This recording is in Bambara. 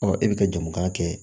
Ɔ e bɛ ka jamu k'a kɛ